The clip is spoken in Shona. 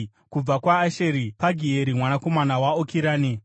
kubva kwaAsheri, Pagieri mwanakomana waOkirani;